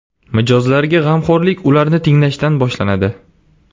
Mijozlarga g‘amxo‘rlik ularni tinglashdan boshlanadi.